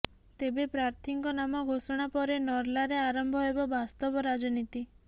ତେବେ ପ୍ରାର୍ଥିଙ୍କ ନାମ ଘୋଷଣା ପରେ ନର୍ଲାରେ ଆରମ୍ଭ ହେବ ବାସ୍ତବ ରାଜନୀତି